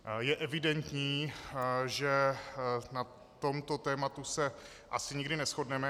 Je evidentní, že na tomto tématu se asi nikdy neshodneme.